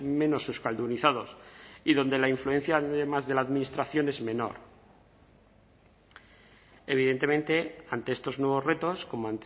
menos euskaldunizados y donde la influencia además de la administración es menor evidentemente ante estos nuevos retos como